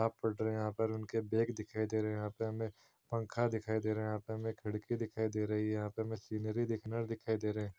ताब पढ़ रहे यहाँ पर उनके बैग दिखाई दे रहे है यहाँ पे हमें पंखा दिखाई दे रहा है यहाँ पे हमें खिड़की दिखाई दे रही है यहाँ पे हमें सीनरी दिखनर दिखाई दे रहे --